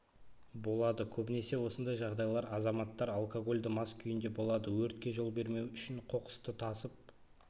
болады көбінесе осындай жағдайлар азаматтар алкогольді мас күйінде болады өртке жол бермеу үшін қоқысты тасып